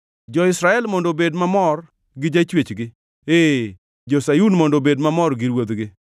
Jo-Israel mondo obed mamor gi jachwechgi; ee, jo-Sayun mondo obed mamor gi Ruodhgi.